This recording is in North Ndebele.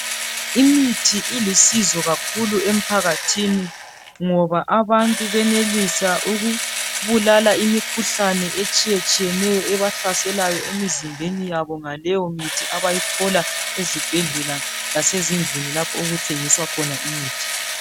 Imithi ilusizo kakhulu emphakathini .Ngoba abantu benelisa ukubulala imikhuhlane etshiye tshiyeneyo ebahlaselayo emizimbeni yabo ngaleyo mithi abayithola ezibhedlela lasezindlini lapho okuthengiswa khona imithi.